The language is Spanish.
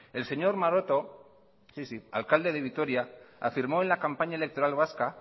el señor maroto alcalde de vitoria afirmó en la campaña electoral vasca